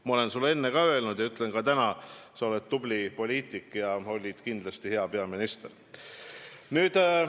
Ma olen sulle enne ka öelnud ja ütlen ka täna: sa oled tubli poliitik ja olid kindlasti hea peaminister.